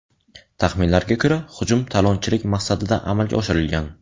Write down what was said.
Taxminlarga ko‘ra, hujum talonchilik maqsadida amalga oshirilgan.